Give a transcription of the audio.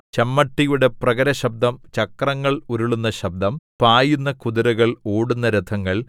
ചമ്മട്ടിയുടെ പ്രഹരശബ്ദം ചക്രങ്ങൾ ഉരുളുന്ന ശബ്ദം പായുന്ന കുതിരകൾ ഓടുന്ന രഥങ്ങൾ